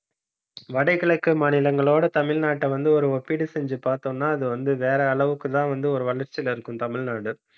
வடகிழக்கு மாநிலங்களோட, தமிழ்நாட்டை வந்து ஒரு ஒப்பீடு செஞ்சு பார்த்தோம்ன்னா அது வந்து வேற அளவுக்குதான் வந்து ஒரு வளர்ச்சியில இருக்கும், தமிழ்நாடு